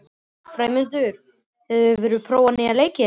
Freymundur, hefur þú prófað nýja leikinn?